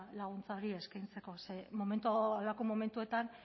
laguntza eskaintzeko ze horrelako momentuetan